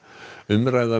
umræða um